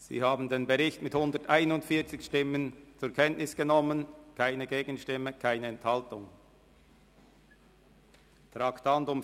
Sie haben den Bericht mit 141 Stimmen ohne Gegenstimme und ohne Enthaltung zur Kenntnis genommen.